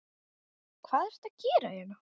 Hvað ertu að gera hérna?